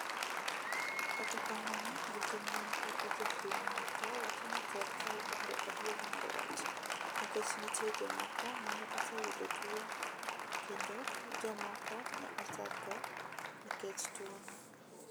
Kata kamano jotim nonro gi jopiny moko wacho ni serkal bando adier mar wach ,nikech nitie jomoko mane osayudo tuwo kendo jomoko ne osadho nikech tuwono.